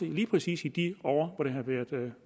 lige præcis i de år hvor det har været